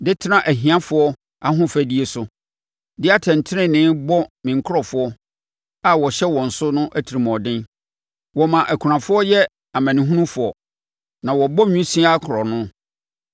de tena ahiafoɔ ahofadie so, de atɛntenenee bɔ me nkurɔfoɔ a wɔhyɛ wɔn so no atirimuɔden. Wɔma akunafoɔ yɛ amanehunufoɔ na wɔbɔ nwisiaa korɔno.